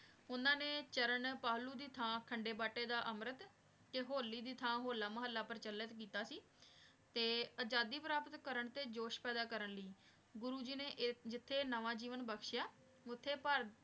ਓਨਾਂ ਨੇ ਚਾਰਾਂ ਪਹਲੋ ਦੀ ਥਾਂ ਖੰਡੇ ਬਾਟੀ ਦਾ ਅਮਰਤ ਤੇ ਹੋਲੀ ਦੀ ਥਾਂ ਹੋਲਾ ਮਹਲਾ ਪ੍ਰਚਲਿਤ ਕੀਤਾ ਸੀ ਤੇ ਆਜ਼ਾਦੀ ਪ੍ਰਾਪਤ ਤੇ ਜੋਸ਼ ਪੈਦਾ ਕਰਨ ਲੈ ਗੁਰੂ ਜੀ ਨੇ ਜਿਥੇ ਨਾਵਾ ਜਿਵੇਂ ਬਕ੍ਸ਼੍ਯ ਓਥੇ